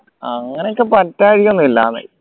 അങ്ങനെയൊക്കെ പറ്റായിക ഒന്നുല്ല